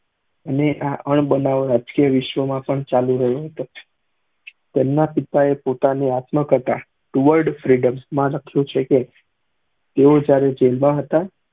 અને આ નાબ્ન્દાએલા રાજકીય વિશ્વ ના પણ ચાલુ રહ્યું હતું તેમના પિતા એ પોતાની આત્મા કથા ટુવર્ડ ફ્રીડમ માં લખ્યું છે કે તે વિચારું જિન્દા હતા